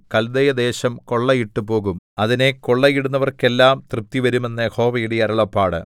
കല്ദയദേശം കൊള്ളയിട്ടുപോകും അതിനെ കൊള്ളയിടുന്നവർക്കെല്ലാം തൃപ്തിവരും എന്ന് യഹോവയുടെ അരുളപ്പാട്